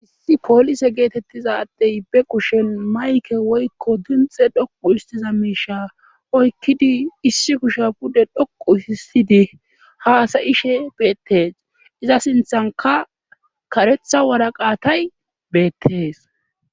issi poolise geetettizadey be kushen mayke woykko dinxe dhoqu histiza miisha oykkidi issi kusha pude dhoqu hissidi haasa'ishe beettes iza sinthanka karetha waraqaatay beettees